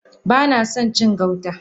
Banason cin gauta.